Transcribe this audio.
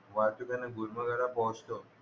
वाहतुकीने गुलमर्ग ला पोहोचतो